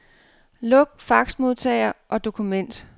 Luk faxmodtager og dokument.